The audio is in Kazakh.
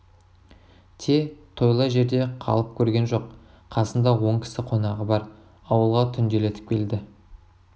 те тойлы жерде қалып көрген жоқ қасында он кісі қонағы бар ауылға түнделетіп келді